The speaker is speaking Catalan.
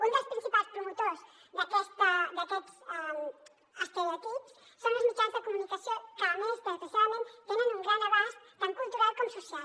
un dels principals promotors d’aquests estereotips són els mitjans de comuni·cació que a més desgraciadament tenen un gran abast tant cultural com social